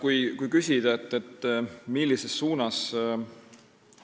Kui küsitakse, millises suunas